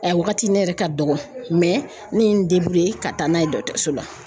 wagati ne yɛrɛ ka dɔgɔ mɛ ne ye n ka taa n'a ye dɔgɔtɔrɔso la .